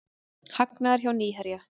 Hagnaður hjá Nýherja